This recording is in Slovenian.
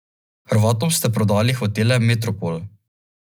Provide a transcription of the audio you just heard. Hrvatom ste prodali hotele Metropol.